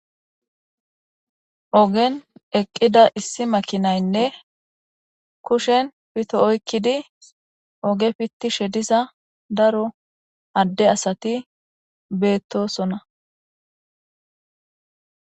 Ogen eqqida issi makinaynne kushen pito oykkidi oge fitti shedisa daro adde asati beettosona.